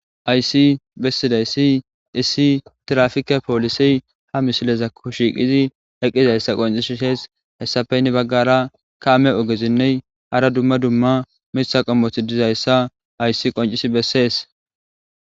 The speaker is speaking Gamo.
Hayssi bessizaysi issi tiraffike polise ha misilezako shiqidi eqizayssa qoncisizes heyssape hini baggara kame ogezinne hara duma duma miththa qommoti dizayssa hayssi qoncisi besesi.